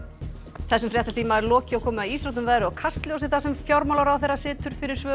þessum fréttatíma er lokið og komið að íþróttum veðri og Kastljósi þar sem fjármálaráðherra situr fyrir svörum